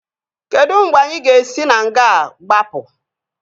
Kedụ mgbe anyị ga-esi na nga a gbapụ?